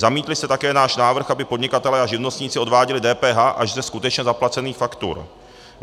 Zamítli jste také náš návrh, aby podnikatelé a živnostníci odváděli DPH až ze skutečně zaplacených faktur.